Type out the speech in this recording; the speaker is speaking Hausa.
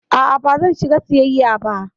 A'a bazan shiga siyasa ba.